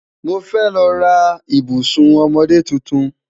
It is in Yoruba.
Mo fẹ́ lọ́ rà ìbùṣún ọmọdé títún.